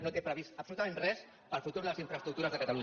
no té previst absolutament res per al futur de les infraestructures de catalunya